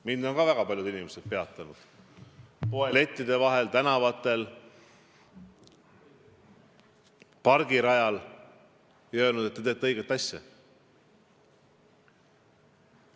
Mind on ka väga paljud inimesed peatanud – poelettide vahel, tänavatel, pargirajal – ja öelnud, et te teete õiget asja.